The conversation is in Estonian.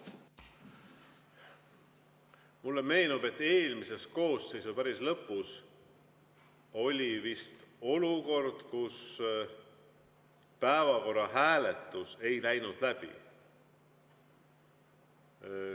Mulle meenub, et eelmise koosseisu päris lõpus oli vist olukord, kus päevakorra hääletus ei läinud läbi.